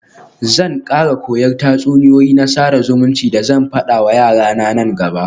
Zan kara koyan tatsuniyoyi na sada zumunci da zan fada wa yarana nan gaba.